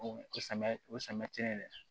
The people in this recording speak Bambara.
O samiya o samiya ti ye dɛ